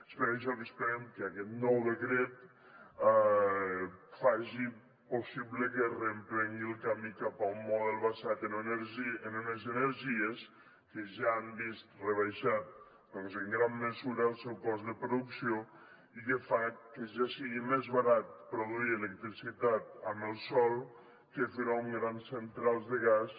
és per això que esperem que aquest nou decret faci possible que es reprengui el camí cap a un model basat en unes energies que ja han vist rebaixat en gran mesura el seu cost de producció i que fa que ja sigui més barat produir electricitat amb el sol que fer ho amb grans centrals de gas